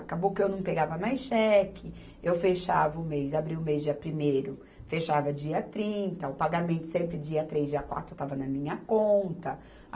Acabou que eu não pegava mais cheque, eu fechava o mês, abria o mês dia primeiro, fechava dia trinta, o pagamento sempre dia três, dia quatro, estava na minha conta.